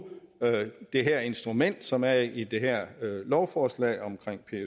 det her instrument som er i det her lovforslag om